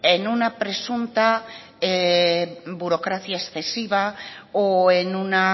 en una presunta burocracia excesiva o en una